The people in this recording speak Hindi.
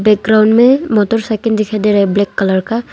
एक ग्राउंड में मोटरसाइकल दिखाई दे रहा है ब्लैक कलर का।